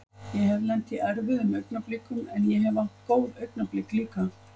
Ég hef lent í erfiðum augnablikum en ég hef átt góð augnablik líka.